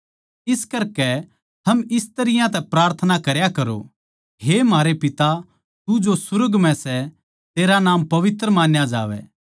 इस करकै थम इस तरियां तै प्रार्थना करया करो हे म्हारे पिता तू जो सुर्ग म्ह सै तेरा नाम पवित्र मान्या जावै